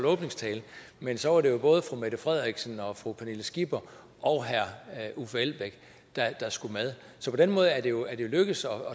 åbningstalen men så er det jo både fru mette frederiksen og fru pernille skipper og herre uffe elbæk der skulle med så på den måde er det jo lykkedes at